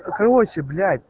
короче блядь